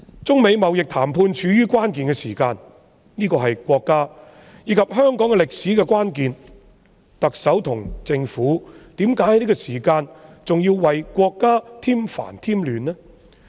中美貿易談判處於關鍵時刻，這是國家和香港歷史上的關鍵，特首和政府在這個時候為何還要為國家添煩添亂呢？